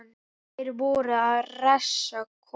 Þeir voru að reisa kofa.